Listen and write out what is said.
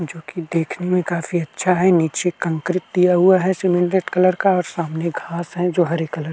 जोकि देखने में काफी अच्छा है। नीचे कंकरित दिया हुआ है सिमेंटेड कलर का और सामने घास है जो हरे कलर --